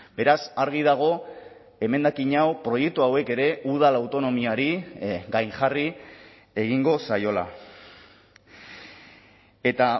beraz argi dago emendakin hau proiektu hauek ere udal autonomiari gainjarri egingo zaiola eta